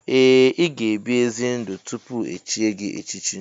Ee! Ị ga ebi ezi ndụ tupu echie gị echichi.